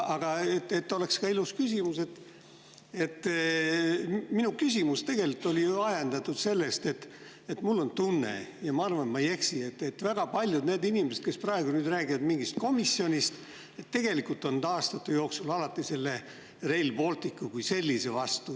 Aga et oleks ka ilus küsimus, siis ütlen, et minu küsimus tegelikult oli ju ajendatud sellest, et mul on tunne – ja ma arvan, et ma ei eksi –, et väga paljud inimesed, kes praegu räägivad mingist komisjonist, on olnud aastate jooksul alati Rail Balticu kui sellise vastu.